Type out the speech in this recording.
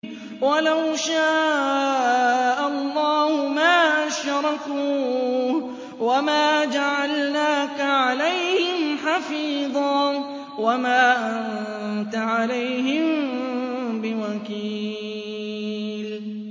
وَلَوْ شَاءَ اللَّهُ مَا أَشْرَكُوا ۗ وَمَا جَعَلْنَاكَ عَلَيْهِمْ حَفِيظًا ۖ وَمَا أَنتَ عَلَيْهِم بِوَكِيلٍ